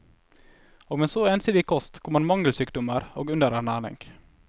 Og med så ensidig kost kommer mangelsykdommer og underernæring.